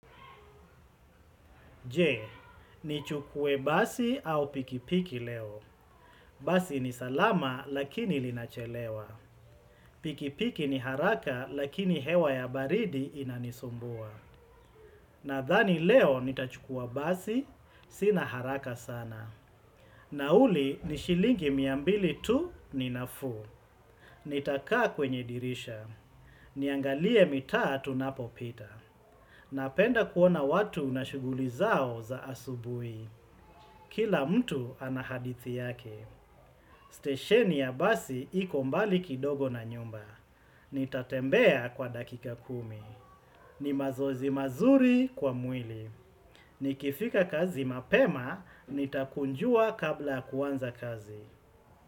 Je, nichukue basi au pikipiki leo. Basi ni salama lakini linachelewa. Pikipiki ni haraka lakini hewa ya baridi inanisumbua. Nadhani leo nitachukua basi, sina haraka sana. Nauli ni shilingi mia mbili tu ni nafuu. Nitakaa kwenye dirisha. Niangalie mitaa tunapopita. Napenda kuona watu na shughuli zao za asubuhi. Kila mtu ana hadithi yake, stesheni ya basi iko mbali kidogo na nyumba. Nitatembea kwa dakika kumi. Ni mazoezi mazuri kwa mwili. Nikifika kazi mapema, nitakunjua kabla ya kuanza kazi.